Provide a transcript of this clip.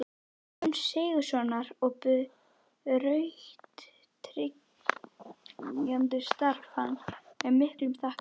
Jóns Sigurðssonar og brautryðjanda starfs hans með miklu þakklæti.